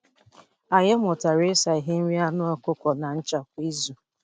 Anyị mụtara ịsa ihe nri anụ ọkụkọ na ncha kwa izu.